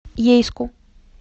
ейску